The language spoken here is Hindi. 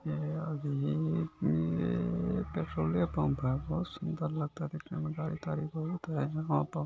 ये अभी के पेट्रोले पंप है बहुत सुन्दर लगता है देखने में गाड़ी ताड़ी बहुत है यहाँ पर।